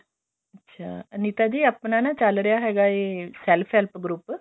ਅੱਛਾ ਅਨੀਤਾ ਜੀ ਆਪਣਾ ਨਾਲ ਚੱਲ ਰਿਹਾ ਹੈਗਾ ਏ self group